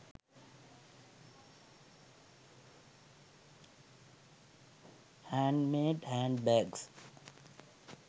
handmade handbags